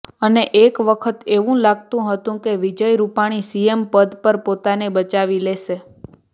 અને એક વખત એવું લાગતું હતું કે વિજય રૂપાણી સીએમ પદ પર પોતાને બચાવી લેશે